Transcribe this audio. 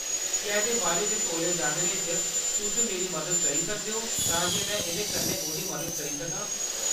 क्या एह्‌‌‌दे बारे च तौलै जानने च तुस मेरी मदद करी सकदे ओ, तां जे में एह्‌‌‌दे कन्नै ओह्‌‌‌दी मदद करी सकां?